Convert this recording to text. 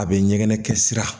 A bɛ ɲɛgɛnɛ kɛ sira